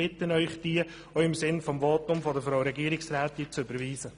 Ich bitte Sie, diese auch im Sinne des Votums von Frau Regierungsrätin Egger zu überweisen.